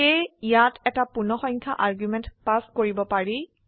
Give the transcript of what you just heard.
সেয়ে ইয়াত এটা পূৰ্ণসংখ্যা আৰ্গুমেন্ট পাস কৰিব পাৰি